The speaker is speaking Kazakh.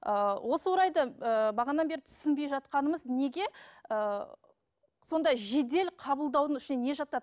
ыыы осы орайда ыыы бағанадан бері түсінбей жатқанымыз неге ыыы сондай жедел қабылдаудың ішіне не жатады